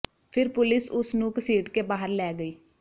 ਫਿਰ ਪੁਲਿਸ ਉਸ ਨੂੰ ਘਸੀਟ ਕੇ ਬਾਹਰ ਲੈ ਗਈ